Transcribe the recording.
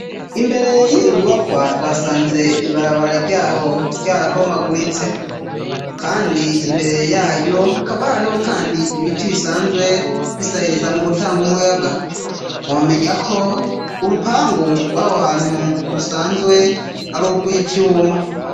Imbere y'iyo nyumakwa twasanze ibarabara ryaho rya rabomaguritse kandi imbere yayo akaba hariho kandi ibiti bisanzwe bisahiriza mu gutanga umuyaga, nkomenya ko urupangu rwaho hantu rusanzwe ari ubw'ivyuma.